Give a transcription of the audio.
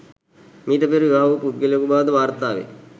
මීට පෙර විවාහ වූ පුද්ගලයෙකු බවද වාර්තාවේ.